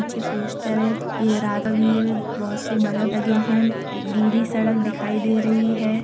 छे पोस्टर है। ये रात बहुत से बलब लगे हैं। एक गीली सड़क दिखाई दे रही है।